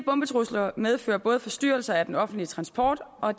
bombetrusler medfører både forstyrrelser af den offentlige transport og